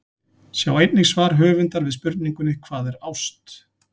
Sjá einnig svar höfundar við spurningunni Hvað er ást?